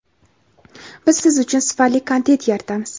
Biz siz uchun sifatli kontent yaratamiz.